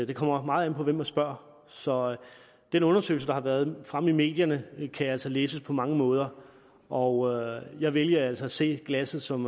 det kommer meget an på hvem man spørger så den undersøgelse der har været fremme i medierne kan altså læses på mange måder og jeg vælger altså at se glasset som